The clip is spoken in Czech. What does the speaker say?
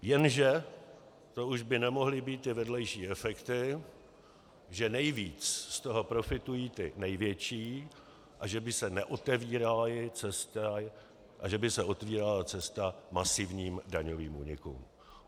Jenže to už by nemohly být ty vedlejší efekty, že nejvíc z toho profitují ti největší a že by se otevírala cesta masivním daňovým únikům.